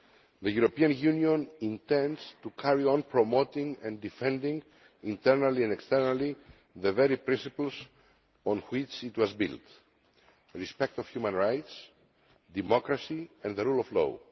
The European Union intends to carry on promoting and defending, internally and externally, the very principles on which it was built respect for human rights, democracy and the rule of law.